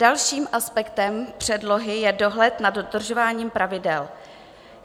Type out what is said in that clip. Dalším aspektem předlohy je dohled nad dodržováním pravidel.